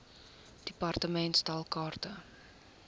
department stel kaarte